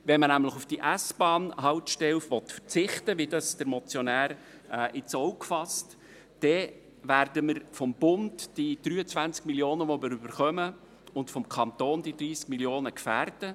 Ein Verzicht auf die S-Bahnhaltestelle, wie es der Motionär ins Auge fasst, würde die 23 Mio. Franken, die wir vom Bund erhalten, und die 30 Mio. Franken vom Kanton gefährden.